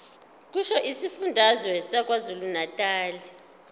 kusho isifundazwe sakwazulunatali